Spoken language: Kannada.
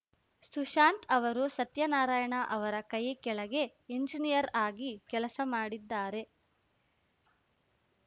ಸುಶಾಂತ್‌ ಅವರು ಸತ್ಯನಾರಾಯಣ ಅವರ ಕೈ ಕೆಳಗೆ ಎಂಜಿನಿಯರ್‌ ಆಗಿ ಕೆಲಸ ಮಾಡಿದ್ದಾರೆ